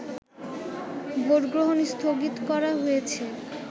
ভোটগ্রহণ স্থগিত করা হয়েছে